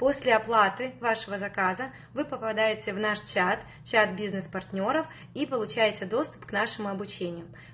после оплаты вашего заказа вы попадаете в наш чат чат бизнес партнёров и получаете доступ к нашему обучению